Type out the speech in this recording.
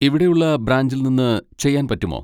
ഇവിടെയുള്ള ബ്രാഞ്ചിൽ നിന്ന് ചെയ്യാൻ പറ്റുമോ?